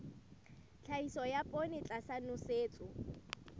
tlhahiso ya poone tlasa nosetso